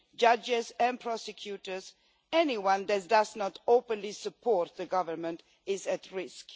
judges and prosecutors anyone that does not openly support the government is at risk.